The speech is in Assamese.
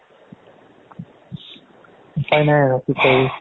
উপাই নাই আৰু কি কৰিবি